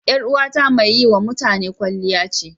Yar uwata mai yi wa mutane kwalliya ce.